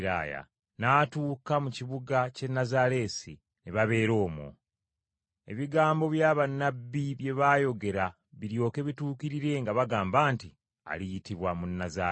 n’atuuka mu kibuga ky’e Nazaaleesi, ne babeera omwo. Ebigambo bya bannabbi bye baayogera biryoke bituukirire nga bagamba nti: “Aliyitibwa Munnazaaleesi.”